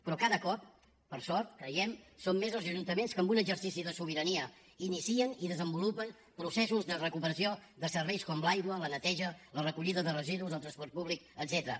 però cada cop per sort creiem són més els ajuntaments que en un exercici de sobirania inicien i desenvolupen processos de recuperació de serveis com l’aigua la neteja la recollida de residus el transport públic etcètera